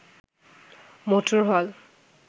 motor হল